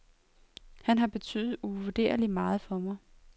Han har betydet uvurderligt meget for mig.